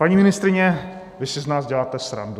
Paní ministryně, vy si z nás děláte srandu.